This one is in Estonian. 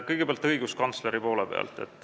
Kõigepealt õiguskantsleri kohta.